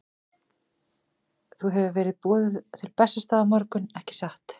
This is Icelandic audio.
Þorbjörn: Þú hefur verið boðuð til Bessastaða á morgun, ekki satt?